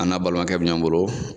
An n'a balimakɛ bɛ ɲɔgɔn bolo